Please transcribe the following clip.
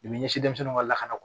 ɲɛsin denmisɛnw ka lakana